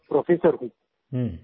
वहाँ पे प्रोफ़ेसर हूँ